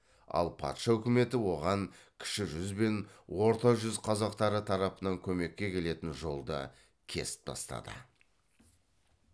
ал патша үкіметі оған кіші жүз бен орта жүз қазақтары тарапынан көмекке келетін жолды кесіп тастады